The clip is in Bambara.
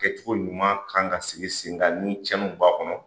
Kɛcogo ɲuman kan ka sigi sen kan ni cɛnniw b'a kɔnɔ.